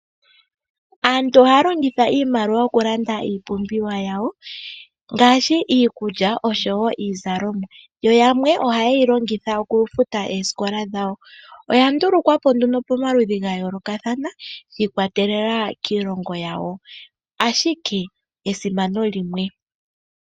Aantu ohaya longitha iimaliwa okulanda iipumbiwa yawo ngashi iikulya osho wo iizalomwa yo yamwe ohayeyi longitha okufuta oosikola dhayo. Oya ndulukwa po pomaludhi ga yoolokathana shi ikwatelela kiilongo yawo ashike esimano limwe.